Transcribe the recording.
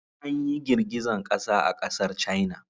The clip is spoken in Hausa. Anyi girgizan ƙasa a ƙasar caina.